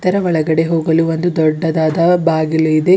ನ ಒಳಗಡೆ ಹೋಗಲು ಒಂದು ದೊಡ್ಡದಾದ ಬಾಗಿಲು ಇದೆ.